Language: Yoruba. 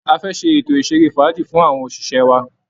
A fẹ́ ṣe ètò ìṣeré fàájì fún àwọn òṣìṣẹ́ wa